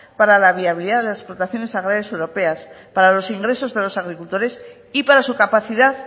para la viabilidad de las explotaciones agrarias europeas para los ingresos de los agricultores y para su capacidad